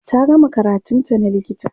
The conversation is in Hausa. ta gama karatun ta na likita